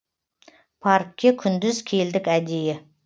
паркке күндіз келдік әдейі